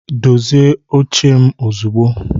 dozie oche m ozugbo